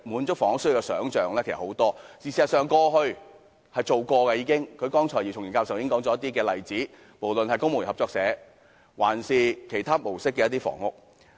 事實上，過去也曾做過，剛才姚松炎議員已列舉了一些例子，無論是公務員建屋合作社，還是以其他模式建造的房屋。